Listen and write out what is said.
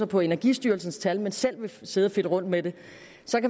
på energistyrelsens tal men selv vil sidde og fedte rundt med det